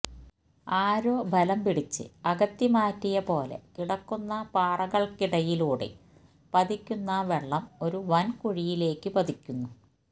ആരോ ബലം പിടിച്ച് അകത്തിമാറ്റിയ പോലെ കിടക്കുന്ന പാറകള്ക്കിടയിലൂടെ പതിക്കുന്ന വെള്ളം ഒരു വന് കുഴിയിലേക്ക് പതിക്കുന്നു